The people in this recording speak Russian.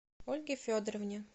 ольге федоровне